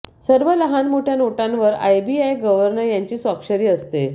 सर्व लहान मोठ्य़ा नोटांवर आरबीआय गर्व्हनर यांची स्वाक्षरी असते